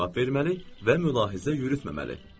Cavab verməli və mülahizə yürütməməli.